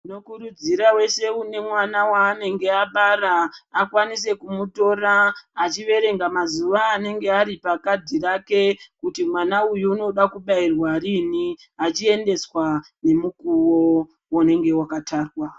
Tinokurudzira weshe une mwana wanenge abara akwanise kumutora achiverenga mazuwa anenge ari pakhadhi reke kuti mwana uyu unoda kubairwa rini achiendeswa nemukuwo unenge wakatarwa.